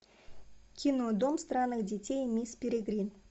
кино дом странных детей мисс перегрин